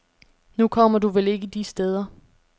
Nu kommer du vel ikke de steder.